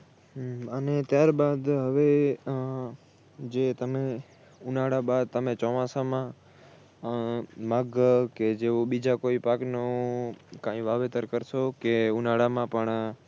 હમ અને ત્યારબાદ હવે ઉહ જે તમે ઉનાળા બાદ તમે ચોમાસામાં આહ નાગર કે જેવુ બીજા કોઈ પાકનું કાઇ વાવેતર કરશો કે ઉનાળામાં પણ